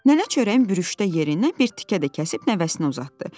Nənə çörəyin bürüşdə yerindən bir tikə də kəsib nəvəsinə uzatdı.